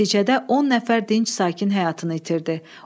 Nəticədə 10 nəfər dinc sakin həyatını itirdi.